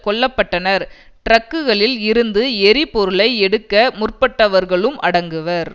கொல்ல பட்டனர் ட்ரக்குகளில் இருந்து எரிபொருளை எடுக்க முற்பட்டவர்களும் அடங்குவர்